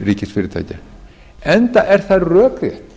ríkisfyrirtækja enda er það rökrétt